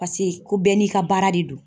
Pase ko bɛɛ n'i ka baara de don.